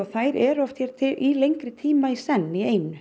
þær eru oft hér í lengri tíma í senn